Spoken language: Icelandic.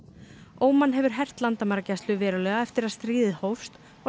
Óman hefur hert landamæragæslu verulega eftir að stríðið hófst og